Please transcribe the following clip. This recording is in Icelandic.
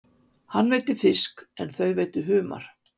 Hann veiddi fisk en þau veiddu humar.